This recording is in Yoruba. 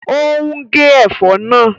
Ó ń gé ẹ̀fọ́ náà